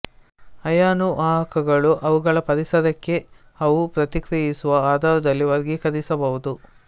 ಅಯಾನು ವಾಹಕಗಳನ್ನು ಅವುಗಳ ಪರಿಸರಕ್ಕೆ ಅವು ಪ್ರತಿಕ್ರಿಯಿಸುವ ಆಧಾರದಲ್ಲಿ ವರ್ಗೀಕರಿಸಬಹುದು